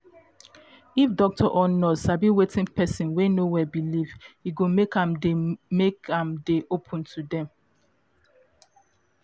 if doctor or nurse sabi wetin person wey no well believe e go make am dey make am dey open to dem